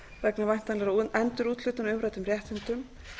vegna væntanlegra endurúthlutana á umræddum réttindum